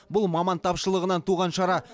бұл маман тапшылығынан туған шара